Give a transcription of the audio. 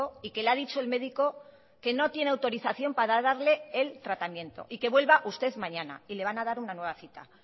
y que le ha dicho el médico que no tiene autorización para darle el tratamiento y que vuelva usted mañana y le van a dar una nueva cita